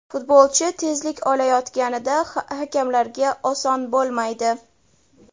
Futbolchi tezlik olayotganida hakamlarga oson bo‘lmaydi.